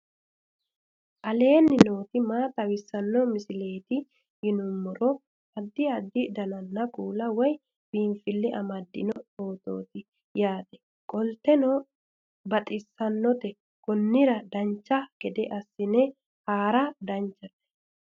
aleenni nooti maa xawisanno misileeti yinummoro addi addi dananna kuula woy biinsille amaddino footooti yaate qoltenno baxissannote konnira dancha gede assine haara danchate